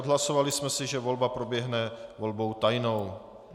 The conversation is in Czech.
Odhlasovali jsme si, že volba proběhne volbou tajnou.